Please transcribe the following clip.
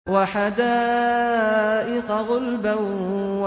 وَحَدَائِقَ غُلْبًا